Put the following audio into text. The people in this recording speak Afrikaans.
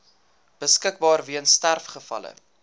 beskikbaar weens sterfgevalle